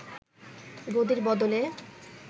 গদির বদলে